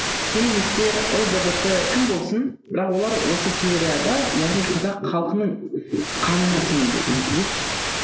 феминистер лгбт кім болсын бірақ олар осы теорияда яғни қазақ халқының қанына сіңуде